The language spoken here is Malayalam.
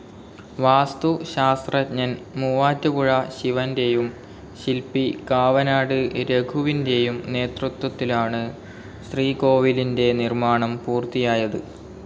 വാസ്തുശാസ്ത്രഞ്ജൻ മൂവാറ്റുപുഴ ശിവൻ്റെയും ശില്പി കാവനാട് രഘുവിൻ്റെയും നേതൃത്വത്തിലാണ് ശ്രീകോവിലിൻ്റെ നിർമ്മാണം പൂർത്തിയായത്.